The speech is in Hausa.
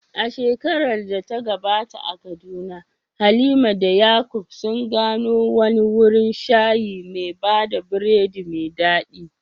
A shekarar da ta gabata a Kaduna, Halima da Yakub sun gano wani wurin shayi mai bada biredi mai dadi.